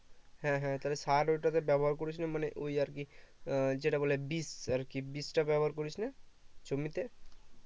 হ্যাঁ হ্যাঁ তাহলে সার ওটাতে ব্যবহার করিস নি মানে ওই আর কি যেটা বলে বিষ আরকি বিষ টা ব্যবহার করিস নি জমিতে